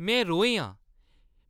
में रोहें आं ।